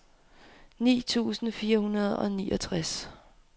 ni tusind fire hundrede og niogtres